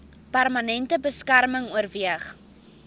permanente beskerming oorweeg